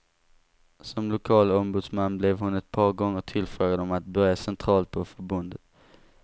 Som lokal ombudsman blev hon ett par gånger tillfrågad om att börja centralt på förbundet.